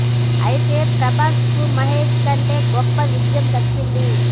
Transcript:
అయితే ప్రభాస్ కు మహేష్ కంటే గొప్ప విజయం దక్కింది